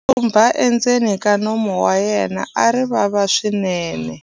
tshumba endzeni ka nomu wa yena a ri vava swinene